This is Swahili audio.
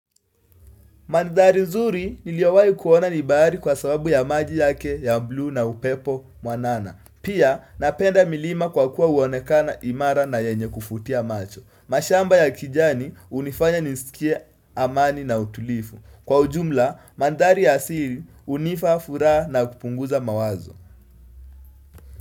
Mandhari nzuri niliyowahi kuona ni bahari kwa sababu ya maji yake ya buu na upepo mwanana. Pia napenda milima kwa kuwa huonekana imara na yenye kuvutia macho. Mashamba ya kijani hunifanya nisikie amani na utulivu. Kwa ujumla, mandhari ya asili hunipa, furaha na kupunguza mawazo.